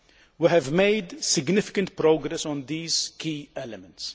We have made significant progress on these key elements.